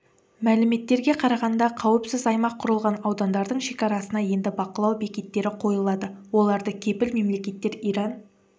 мәліметтерге қарағанда қауіпсіз аймақ құрылған аудандардың шекарасына енді бақылау бекеттері қойылады оларды кепіл мемлекеттер иран